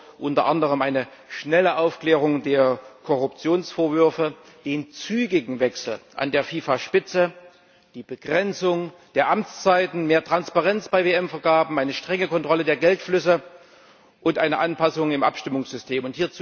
Er fordert unter anderem eine schnelle Aufklärung der Korruptionsvorwürfe, den zügigen Wechsel an der FIFA Spitze, die Begrenzung der Amtszeiten, mehr Transparenz bei WM Vergaben, eine strenge Kontrolle der Geldflüsse und eine Anpassung im Abstimmungssystem.